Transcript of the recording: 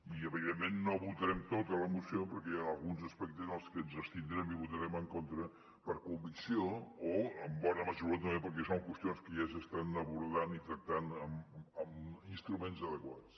i evidentment no votarem tota la moció perquè hi han alguns aspectes en els que ens abstindrem i votarem en contra per convicció o en bona mesura també perquè són qüestions que ja s’estan abordant i tractant amb instruments adequats